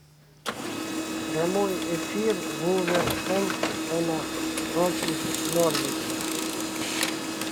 прямой эфир вулверхэмптона против норвича